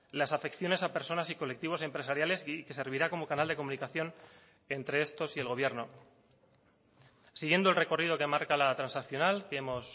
las afecciones a personas y colectivos empresariales y que servirá como canal de comunicación entre estos y el gobierno siguiendo el recorrido que marca la transaccional que hemos